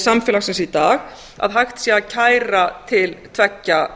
samfélagsins í dag að hægt sé að kæra til tveggja